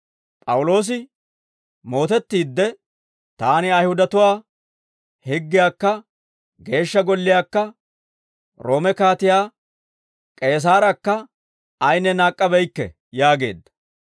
P'awuloosi mootettiidde, «Taani Ayihudatuwaa higgiyaakka Geeshsha Golliyaakka Roome Kaatiyaa K'eesaarakka ayinne naak'k'abeykke» yaageedda.